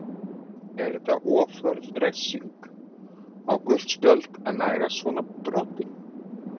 Er þetta of hörð refsing, á gult spjald að nægja svona broti?